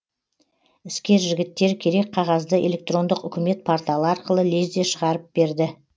іскер жігіттер керек қағазды электрондық үкімет порталы арқылы лезде шығарып берді